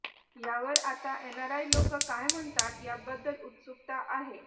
ह्यावर आता एनाराय लोक काय म्हणतात याबद्दल उत्सुकता आहे